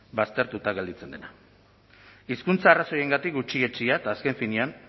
baztertuta gelditzen dena hizkuntza arrazoiengatik gutxietsia eta azken finean